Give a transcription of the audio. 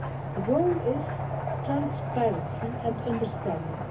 The goal is transparency and understanding.